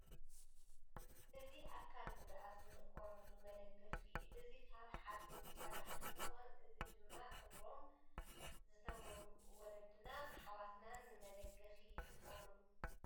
እዚ ኣካል ጉድኣት ዝጥቀምሉ መደገፊ እዩ ። እዚ ካብ ሓፅን ዝስራሕ እንትኮን እዚ ድማ እግሮም ዝተጎድኡ ወለድናን ኣሕዋትናን ንመደገፊ ይጥቀምሉ።